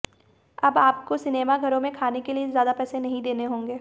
अब आपको सिनेमाघरो में खाने के लिए ज्यादा पैसे नहीं देने होंगे